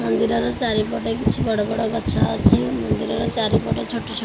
ମନ୍ଦିର ଚାରିପଟେ କିଛି ବଡ ବଡ ଗଛ ଅଛି। ମନ୍ଦିର ଚାରିପଟେ ଛୋଟ ଛୋଟ --